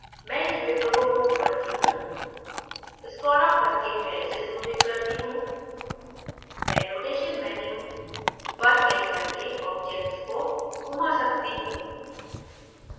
मैं इस window को move करता हूँ स्क्रोल अप करके मैं इसे zoomइन करता हूँ मैं rotation menu पर क्लिक करके object को घुमा सकता हूँ